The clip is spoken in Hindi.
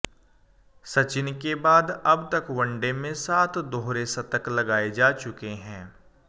सचिन के बाद अब तक वनडे में सात दोहरे शतक लगाए जा चुके हैं